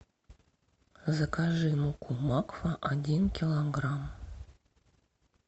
закажи муку макфа один килограмм